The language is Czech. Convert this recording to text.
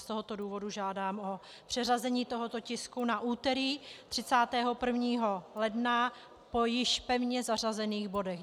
Z tohoto důvodu žádám o přeřazení tohoto tisku na úterý 31. ledna po již pevně zařazených bodech.